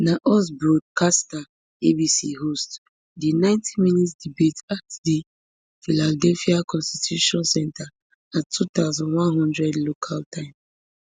na us broadcaster abc host di ninetyminute debate at di philadelphia constitution center at two thousand, one hundred local time